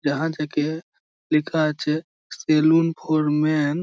ইহা থেকে লিখা আছে সালুন ফর মেন ।